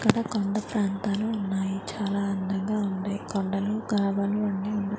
కదా కొండ ప్రాంతాలు ఉన్నాయి చాలా అందంగా ఉంది కొండలు కాల్వలు అన్నీ చాలా .